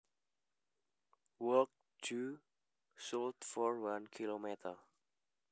Walk due south for one kilometer